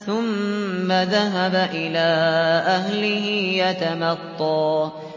ثُمَّ ذَهَبَ إِلَىٰ أَهْلِهِ يَتَمَطَّىٰ